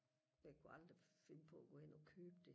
jeg kunne aldrig finde på og gå hen og købe det